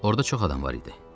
Orda çox adam var idi.